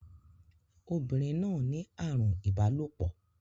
Obìnrin náà ní àrùn ìbálòpọ̀.